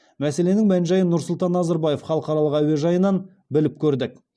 мәселенің мән жайын нұрсұлтан назарбаев халықаралық әуежайынан біліп көрдік